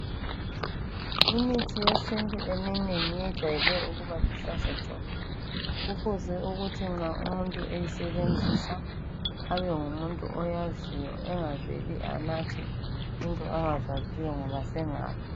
Imithi yesintu eminengi iyejayele ukuba luhlaza tshoko kufuze ukuthi nxa umuntu eyisebenzisa abe ngumuntu oyanziwo engaveli anathe into angazaziyo ngoba sengafa .